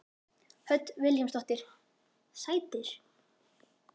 Hödd Vilhjálmsdóttir: Sætir?